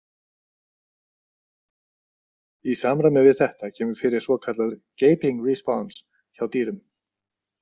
Í samræmi við þetta kemur fyrir svokallaður „gaping response“ hjá dýrum.